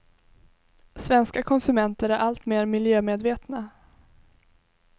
Svenska konsumenter är allt mer miljömedvetna.